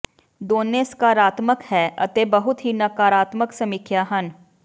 ਦੋਨੋ ਸਕਾਰਾਤਮਕ ਹੈ ਅਤੇ ਬਹੁਤ ਹੀ ਨਕਾਰਾਤਮਕ ਸਮੀਖਿਆ ਹਨ